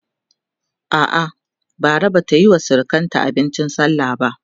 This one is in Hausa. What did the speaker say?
a'a Bara Bata Yi wa surukanta abincin sallah ba